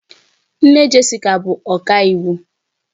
Nne Jessica bụ ọkàiwu